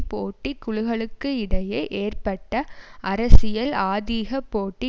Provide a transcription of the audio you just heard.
போட்டி குழுக்களுக்கிடையே ஏற்பட்ட அரசியல் ஆதிக போட்டி